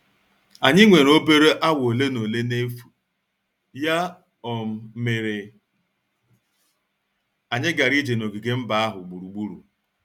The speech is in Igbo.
Anyị nwere obere awa ole na ole n'efu, ya um mere anyị gara ije n'ogige mba ahụ gburugburu.